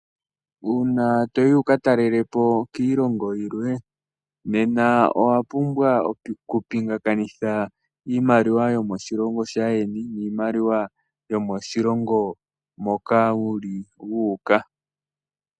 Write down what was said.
Uuna toyi wu kalele po kiilongo yimwe nena owa pumbwa okupingakanitha iimaliwa yoshilongo shaayeni niimaliwa yoshilongo moka wuli wu uka .